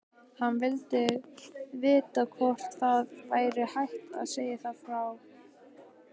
Hann vildi vita hvort það væri hægt að fá frið.